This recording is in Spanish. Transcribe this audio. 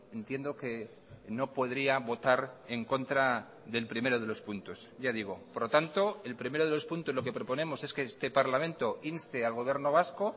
entiendo que no podría votar en contra del primero de los puntos ya digo por lo tanto el primero de los puntos lo que proponemos es que este parlamento inste al gobierno vasco